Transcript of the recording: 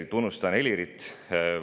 Tunnustan Helirit.